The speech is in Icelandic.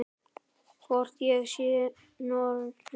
Hvort ég sé norn.